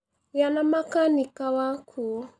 Gĩa na makanĩka wakũ.